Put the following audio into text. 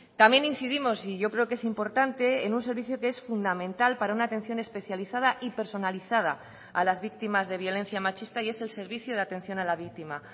también incidimos y yo creo que es importante en un servicio que es fundamental para una atención especializada y personalizada a las víctimas de violencia machista y es el servicio de atención a la víctima